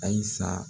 Ayisa